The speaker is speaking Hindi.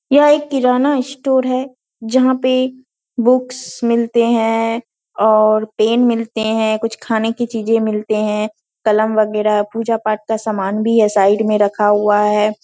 यह एक किराना स्टोर है जहाँ पे बुक्स मिलते हैं और पेन मिलते हैं कुछ खाने की चीजें मिलते हैं कलम बगेरह पूजा-पाठ का सामान भी है साइड में रखा हुआ है ।